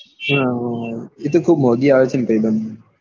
હા પણ એ તો ખૂબ મોંઘી આવે છે ને ભાઈ બંદ.